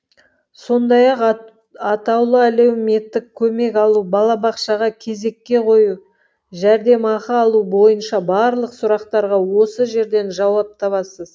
сондай ақ атаулы әлеуметтік көмек алу балабақшаға кезекке қою жәрдемақы алу бойынша барлық сұрақтарға осы жерден жауап табасыз